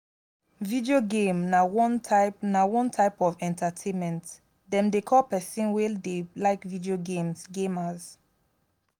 video game na one type na one type of entertainment dem dey call people wey dey like video games gamers